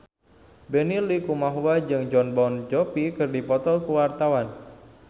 Benny Likumahua jeung Jon Bon Jovi keur dipoto ku wartawan